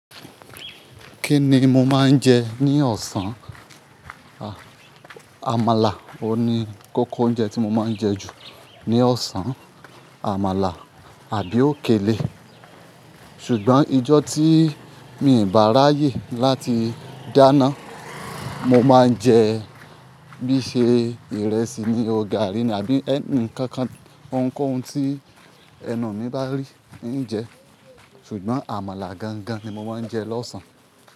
Kí ni mo máa ń jẹ ní ọ̀sán? À, àmàlà o ni, kókó oúnjẹ tí mo máa ń jẹ jù ní ọ̀sán. Àmàlà àbí òkèlè. Sugbọn ijọ́ tí mi n bà ráyè láti dáná, mo máa ń jẹ, bíi ṣe ìrẹsì ni ọ gari ní àbí ẹ́ńnì kankan, ohunkóhun tí ẹnu mi bá rí ní jẹ. Sugbọn àmàlà gangan ni mo máa ń jẹ lọ́sàn-án.